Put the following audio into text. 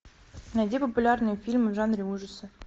найди популярные фильмы в жанре ужасы